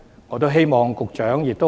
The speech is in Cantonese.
我希望局長回應一下。